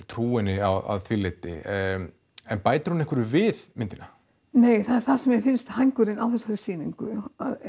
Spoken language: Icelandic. trú henni að því leyti en bætir hún einhverju við myndina nei það er það sem mér finnst hængurinn á þessari sýningu